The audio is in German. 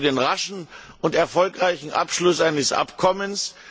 Ich bin auch für den raschen und erfolgreichen Abschluss eines Abkommens.